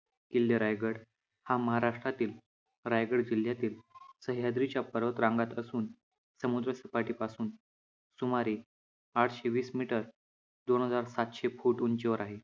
किल्ले रायगड हा महाराष्ट्रातील रायगड जिल्ह्यातील सह्याद्रीच्या पर्वत रांगांत असून समुद्रसपाटीपासून सुमारे आठशे वीस मीटर दोन हजार सातशे फुट उंचीवर आहे.